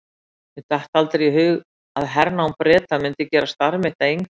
Mér datt aldrei í hug að hernám Breta myndi gera starf mitt að engu.